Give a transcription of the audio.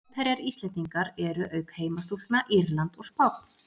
Mótherjar Íslendingar eru, auk heimastúlkna, Írland og Spánn.